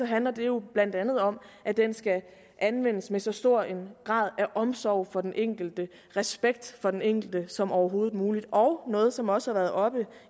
handler det jo blandt andet om at den skal anvendes med så stor en grad af omsorg for den enkelte respekt for den enkelte som overhovedet muligt og noget som også har været oppe